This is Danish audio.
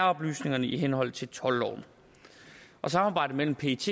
oplysningerne i henhold til toldloven samarbejdet mellem pet